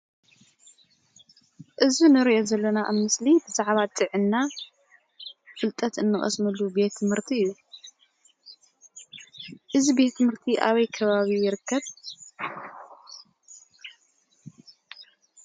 እዚ ንሪኦ ዘለና ምስሊ ብዛዕባ ጥዕና ፍልጠት ንቀስመሉ ቤት ትምህርቲ እዩ። እዚ ቤት ትምህርቲ ኣበይ ከባቢ ይርከብ ?